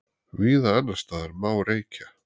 Víða annarsstaðar má reykja